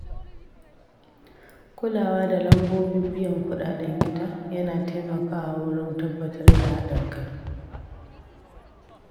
Kulawa da lambobin biyan kuɗaɗen gida yana taimakawa wurin tabbatar da haɗin kai.